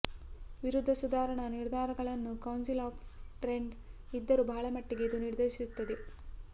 ವಿರುದ್ಧ ಸುಧಾರಣಾ ನಿರ್ಧಾರಗಳನ್ನು ಕೌನ್ಸಿಲ್ ಆಫ್ ಟ್ರೆಂಟ್ ಇದ್ದರು ಬಹಳ ಮಟ್ಟಿಗೆ ಇದು ನಿರ್ದೇಶಿಸುತ್ತದೆ